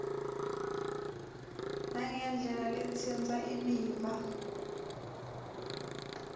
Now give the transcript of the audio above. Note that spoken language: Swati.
nangendlela letsintsa imiva